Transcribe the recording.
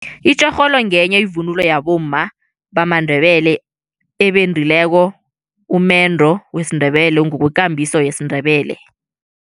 Itjorholo ngenye ivunulo yabomma bamaNdebele ebendileko umendo wesiNdebele ngokwekambiso yesiNdebele.